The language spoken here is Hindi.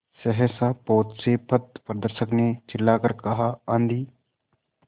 सहसा पोत से पथप्रदर्शक ने चिल्लाकर कहा आँधी